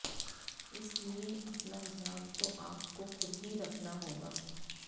इसलिए अपना ध्यान तो आपको खुद ही रखना होगा